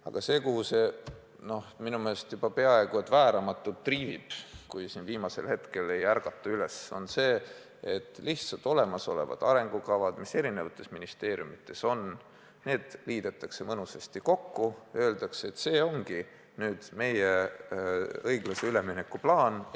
Aga suund, kuhu see olukord minu meelest juba peaaegu vääramatult triivib, kui siin viimasel hetkel üles ei ärgata, on see, et olemasolevad arengukavad, mis eri ministeeriumides tehtud on, lihtsalt liidetakse mõnusasti kokku ja öeldakse, et see ongi meie õiglase ülemineku plaan.